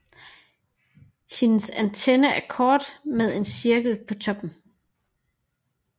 Hendes antenne er kort med en cirkel på toppen